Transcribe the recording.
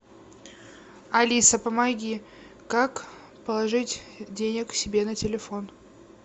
алиса помоги как положить денег себе на телефон